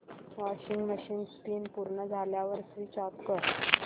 washing machine spin पूर्ण झाल्यावर switch off कर